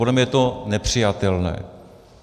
Podle mě je to nepřijatelné.